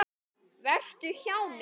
Vertu hjá mér.